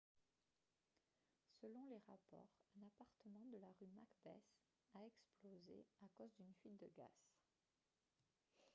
selon les rapports un appartement de la rue macbeth a explosé à cause d'une fuite de gaz